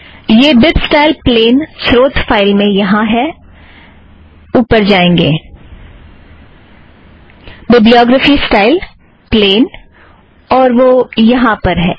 यह bib style plain स्रोत file में यहाँ पर है ऊपर जाएं बिब्लीयोग्रफ़ी स्टाइल - प्लेन और वह यहाँ पर है